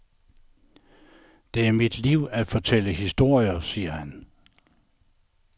Det er mit liv at fortælle historier, siger han.